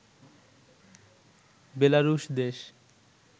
বেলারুশ দেশ